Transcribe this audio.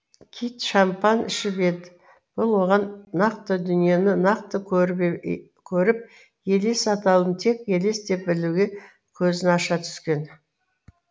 кит шампан ішіп еді бұл оған нақты дүниені нақты көріп елес атаулыны тек елес деп білуге көзін аша түскен